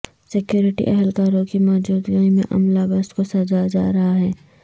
security اہلکاروں کی موجودگی میں عملہ بس کو سجا جا رہا ہے